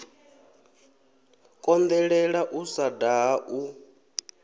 konḓelela u sa daha u